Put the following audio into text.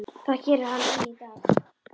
Það gerir hann enn í dag.